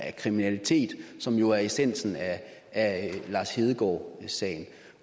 af kriminalitet som jo er essensen af lars hedegaard sagen